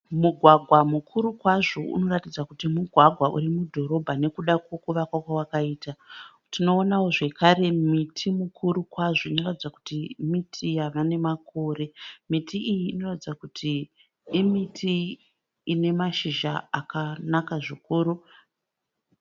Mugwagwa mukuru kwazvo unoratidza kuti mugwagwa uri mudhorobha nekuda kwekuvakwa kwawakaita. Tinoonawo zvekare miti mikuru kwazvo inoratidza kuti miti yava nemakore. Miti iyi inoratidza kuti miti ine mashizha akanaka zvikuru.